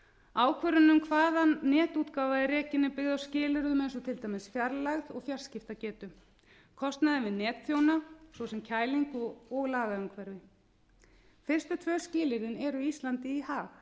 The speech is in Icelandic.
ákvörðunin um hvaðan netútgáfa er rekin er byggð á skilyrðum eins og til dæmis fjarlægð og fjarskiptagetu kostnaði við netþjóna svo sem kælingu og lagaumhverfi fyrstu tvö skilyrðin eru íslandi í hag